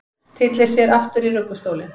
Tyllir sér aftur í ruggustólinn.